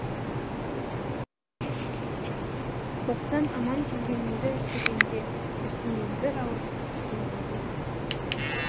соғыстан аман келгеніңді көргенде үстімнен бір ауыр жүк түскендей болды